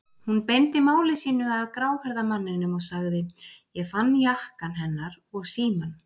Hún beindi máli sínu að gráhærða manninum og sagði: Ég fann jakkann hennar og símann.